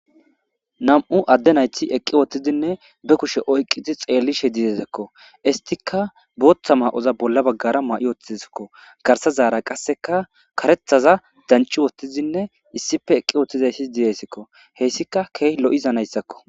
Nam"u adde nayti eqqi wottizinne be kushe oyqidi xeellishe didezakko istika booththa maa"oza bolla baggara ma"i woththizakko garsazaara qasseka karethaza danchi wottizinne issife eqqi woothtizayssi diyeyssikko heyssika keey lo"iza nayssakko